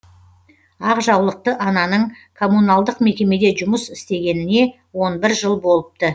ақ жаулықты ананың коммуналдық мекемеде жұмыс істегеніне он бір жыл болыпты